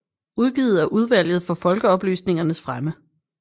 Udgivet af Udvalget for Folkeoplysningens Fremme